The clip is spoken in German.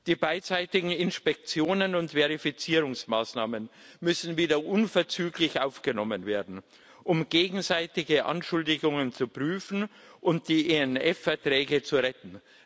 Die beidseitigen Inspektionen und Verifizierungsmaßnahmen müssen wieder unverzüglich aufgenommen werden, um gegenseitige Anschuldigungen zu prüfen und die INF Verträge zu retten.